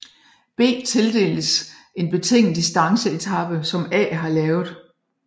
B tildeles en betinget distanceetape som A har lavet